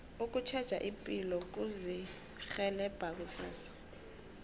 ukutjheja ipilo kuzirhelebha kusasa